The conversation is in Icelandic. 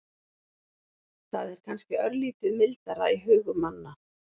Það er kannski örlítið mildara í hugum manna.